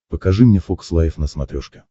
покажи мне фокс лайв на смотрешке